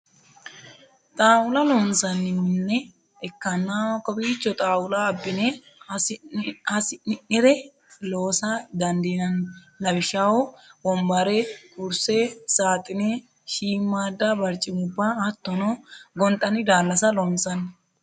xaaulla loosanni minne ikanna kowicho xaaulla abinne hasi'ninnire loosa dandinanni lawishshaho wonbarre, kurisse, saaxinne, shiimada baricoimubba hattono gonxanni daalasa loosanni.